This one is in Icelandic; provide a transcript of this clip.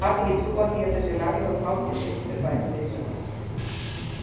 Hún gat ekki trúað því að þessi laglegi og káti piltur væri viðsjárverður.